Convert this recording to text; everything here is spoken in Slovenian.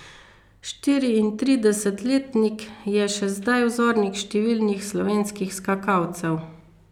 Štiriintridesetletnik je še zdaj vzornik številnih slovenskih skakalcev.